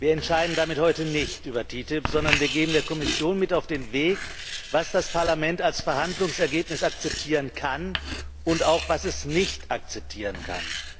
Wir entscheiden damit heute nicht über die TTIP, sondern wir geben der Kommission mit auf den Weg, was das Parlament als Verhandlungsergebnis akzeptieren kann und auch was es nicht akzeptieren kann.